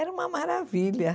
Era uma maravilha.